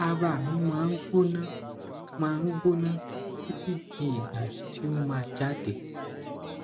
ara mi ma n gbona ma n gbona titi di igba ti o ma jade